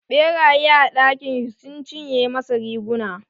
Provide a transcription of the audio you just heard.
Ɓeraye a dakin shi sun cinye masa riguna.